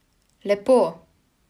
Lepo!